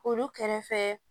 Olu kɛrɛfɛ